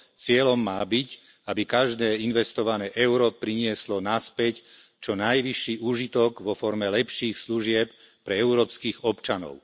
Cieľom má byť, aby každé investované euro prinieslo naspäť čo najvyšší úžitok vo forme lepších služieb pre európskych občanov.